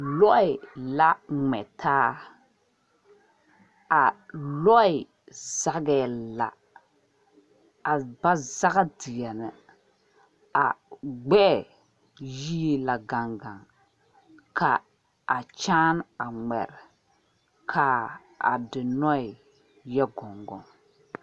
Lɔɛ la mgɛ taa a lɔɛ zagɛɛ la a ba zag deɛne a gbɛɛ yie la gangan kaa kyaane a ngmari ka a dinnue yɛ gongon.